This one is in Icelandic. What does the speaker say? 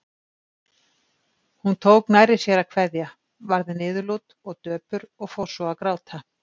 Hún tók nærri sér að kveðja, varð niðurlút og döpur og fór svo að gráta.